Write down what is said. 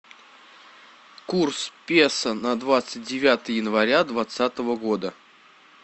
курс песо на двадцать девятое января двадцатого года